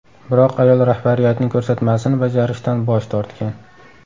Biroq ayol rahbariyatning ko‘rsatmasini bajarishdan bosh tortgan.